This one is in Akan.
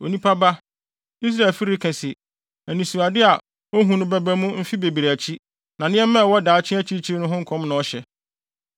“Onipa ba, Israelfi reka se, ‘Anisoade a ohu no bɛba mu mfe bebree akyi, na nneɛma a ɛwɔ daakye akyirikyiri ho nkɔm na ɔhyɛ.’